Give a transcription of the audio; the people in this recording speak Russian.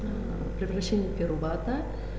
превращение пирувата